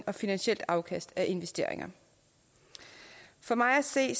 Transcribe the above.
og finansielt afkast af investeringer for mig at se